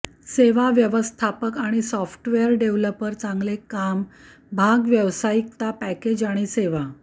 सेवा व्यवस्थापक आणि सॉफ्टवेअर डेव्हलपर चांगले काम भाग व्यावसायिकता पॅकेज आणि सेवा